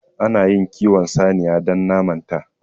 Ana iya kiwon saniya don naman ta.